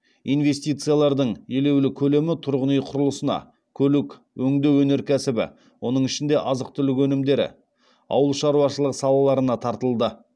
инвестициялардың елеулі көлемі тұрғын үй құрылысына көлік өңдеу өнеркәсібі оның ішінде азық түлік өнімдері ауыл шаруашылық салаларына тартылды